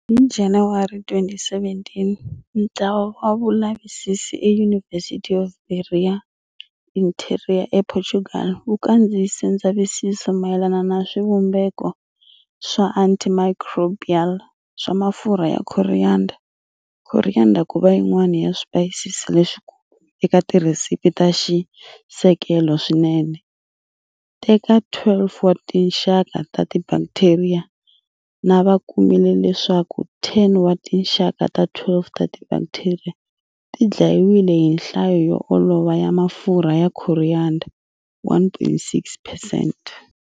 Hi January 2017, ntlawa wa vulavisisi eUniversity of Beira Interior ePortugal wu kandziyise ndzavisiso mayelana na swivumbeko swa antimicrobial swa mafurha ya coriander, coriander kuva yin'wana ya swipayisisi leswikulu eka ti recipe ta xisekelo swinene ta, eka 12 wa tinxaka ta tibakitheriya, na va kumile leswaku 10 wa tinxaka ta 12 ta tibakteriya ti dlayiwile hi nhlayo yo olova ya mafurha ya coriander, 1.6 percent.